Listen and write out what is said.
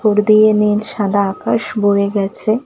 খুর দিয়ে নীল সাদা আকাশ বয়ে গেছে।